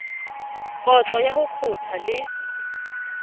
kotlo ya ho kgotha le